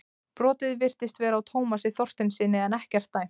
Brotið virtist vera á Tómasi Þorsteinssyni en ekkert dæmt.